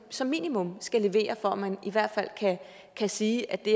som minimum skal leveres for at man i hvert fald kan sige at det